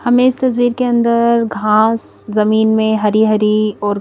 हमें इस तस्वीर के अंदर घास जमीन में हरी हरी और--